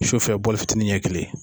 Sufɛ fitinin ɲɛ kelen